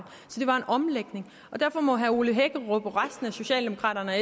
så det var en omlægning så derfor må herre ole hækkerup og resten af socialdemokraterne og